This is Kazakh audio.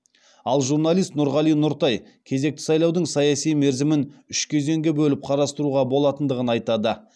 ал журналист нұрғали нұртай кезекті сайлаудың саяси мерзімін үш кезеңге бөліп қарастыруға болатындығын айтады